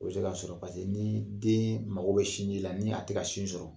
O bɛ se k'a sɔrɔ paseke ni den mago bɛ sin ji la, ni a tɛ ka sin sɔrɔ.